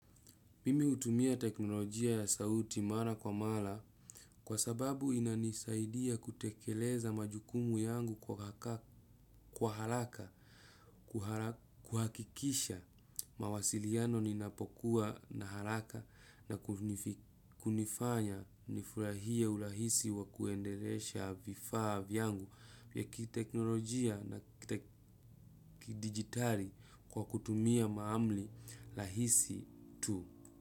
Mimi utumia teknolojia ya sauti mara kwa mara kwa sababu inanisaidia kutekeleza majukumu yangu kwa haraka kuhakikisha mawasiliano ninapokuwa na haraka na kunifanya nifurahia urahisi wa kuendelesha vifaa vyangu ya kiteknolojia na kidigitali kwa kutumia maamli lahisi tu.